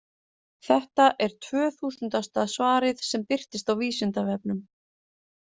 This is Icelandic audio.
Þetta er tvöþúsundasta svarið sem birtist á Vísindavefnum.